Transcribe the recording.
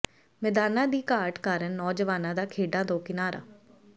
ਮੈਦਾਨਾਂ ਦੀ ਘਾਟ ਕਾਰਨ ਨੌਜਵਾਨਾਂ ਦਾ ਖੇਡਾਂ ਤੋਂ ਕਿਨਾਰਾ